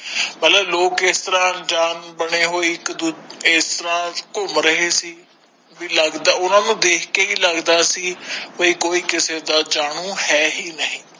ਲੋਗ ਇਸਤਰਾਂ ਅਣਜਾਣ ਬਣੇ ਹੋਏ ਇਕ ਦੂਜੇ ਇਸਤਰਾਂ ਘੁੰਮ ਰਹੇ ਸੀ ਭੀ ਲਗਦਾ ਉਨੋ ਨੂੰ ਦੇਖ ਕੇ ਵੀ ਲਗਦਾ ਸੀ ਕਿ ਕੋਈ ਕਿਸੇ ਦਾ ਜਾਣੂ ਹ ਹੀ ਨਹੀਂ